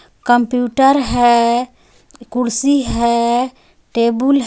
computer है कुर्सी है